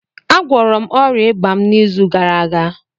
Agwọrọ m ọrịa ịba m n'izu gara aga